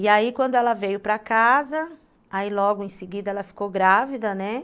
E aí, quando ela veio para casa, aí logo em seguida ela ficou grávida, né.